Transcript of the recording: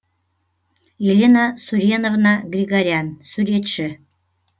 елена суреновна григорян суретші